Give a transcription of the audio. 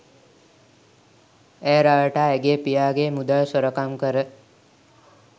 ඇය රවටා ඇගේ පියාගේ මුදල් සොරකම් කර